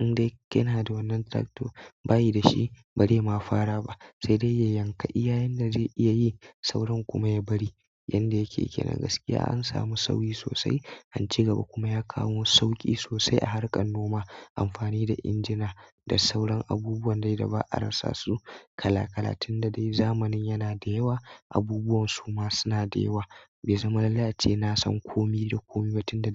indai yana da wannan tractor, bai da shi, bazai ma fara ba. Sai dai ya yanka iya inda zai iya yi sauran kuma ya bari. Yanda yake kenan, gaskiya an samu sauyi sosai, an cigaba kuma ya kawo sauƙi sosai a harkar noma. Amfani da injina da sauran abubuwan dai da ba a rasa su kala kala tunda dai zamani yana da yawa, abubuwan su ma suna da yawa bai zama lallai ace na san komai da komai ba tunda dai.